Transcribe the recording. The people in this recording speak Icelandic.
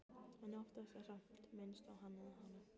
En oftast er samt minnst á Hann eða Hana.